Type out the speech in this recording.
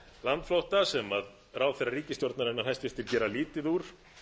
landflótta sem ráðherra ríkisstjórnarinnar hæstvirtur gerir lítið úr